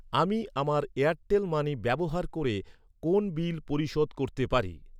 আমি আমার Airtel money ব্যবহার করে কোন বিল পরিশোধ করতে পারি?